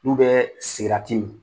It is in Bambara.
N'u bɛ sigarati min.